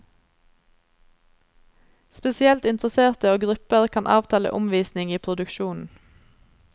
Spesielt interesserte og grupper kan avtale omvisning i produksjonen.